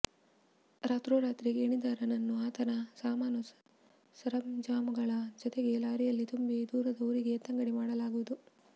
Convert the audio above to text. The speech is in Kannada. ರಾತ್ರೋರಾತ್ರಿ ಗೇಣಿದಾರನನ್ನು ಆತನ ಸಾಮಾನು ಸರಂಜಾಮುಗಳ ಜತೆಗೆ ಲಾರಿಯಲ್ಲಿ ತುಂಬಿ ದೂರದ ಊರಿಗೆ ಎತ್ತಂಗಡಿ ಮಾಡಲಾಗುವುದು